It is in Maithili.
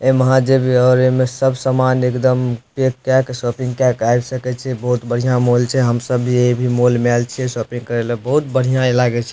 एमे आहां जेबे एमे सब सामान एकदम पैक केय के शॉपिंग केय के आब सके छीये बहुत बढ़िया मॉल छै हम सब भी एहि मॉल मे आएल छीये शॉपिंग करे ला बहुत बढ़िया इ लागे छै।